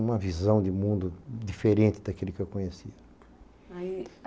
Uma visão de mundo diferente daquele que eu conhecia. Aí